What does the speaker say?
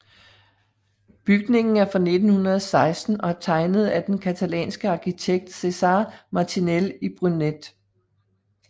Bygningen er fra 1916 og er tegnet af den catalanske arkitekt Cèsar Martinel i Brunet